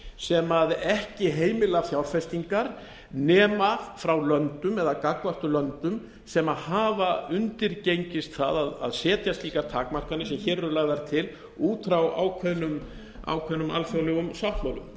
sem ekki heimila fjárfestingar nema frá löndum eða gagnvart löndum sem hafa undirgengist það að setja slíkar takmarkanir sem hér eru lagðar til út frá ákveðnum alþjóðlegum sáttmálum ég